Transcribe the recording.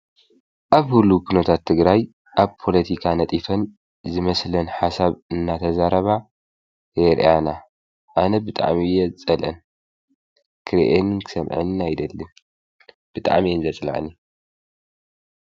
አብ ህልዉ ኩነታት ትግራይ አብ ፖለቲካ ነጢፈን ዝመስለን ሓሳብ እናተዛረባ የርእያና አነ ብጣዕሚ እየ ዝፀልአን ክሪአንን ክሰምዐንን አይደልን ብጣዕሚ እየን ዘፅልአኒ ።